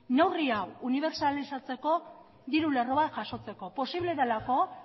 neurri hau unibertsalizatzeko diru lerro bat jasotzeko posible delako